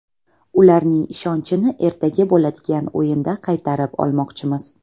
Ularning ishonchini ertaga bo‘ladigan o‘yinda qaytarib olmoqchimiz.